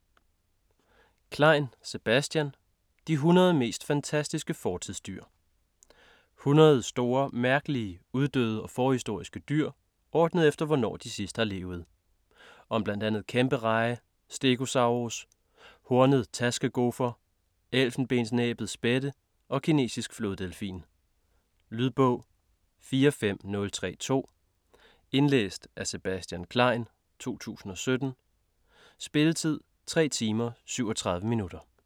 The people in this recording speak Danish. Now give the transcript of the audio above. Klein, Sebastian: De 100 mest fantastiske fortidsdyr 100 store, mærkelige, uddøde og forhistoriske dyr, ordnet efter hvornår de sidst har levet. Om bl.a. kæmpereje, stegosaurus, hornet taskegofer, elfenbensnæbbet spætte og kinesisk floddelfin. Lydbog 45032 Indlæst af Sebastian Klein, 2017. Spilletid: 3 timer, 37 minutter.